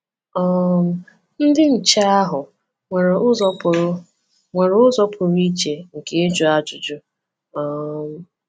um Ndị nche ahụ nwere ụzọ pụrụ nwere ụzọ pụrụ iche nke ịjụ ajụjụ. um